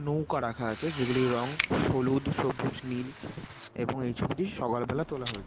নৌকা রাখা আছে | যেগুলির রং হলুদ সবুজ নীল এবং এই ছবিটি সকালবেলা তোলা হয়েছে।